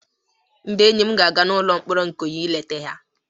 Ndị enyi m ga-aga n'ụlọ mkpọrọ Ikoyi ị leta ya